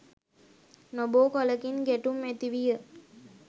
නොබෝ කලකින් ගැටුම් ඇතිවිය.